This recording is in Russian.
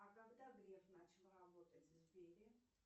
а когда греф начал работать в сбере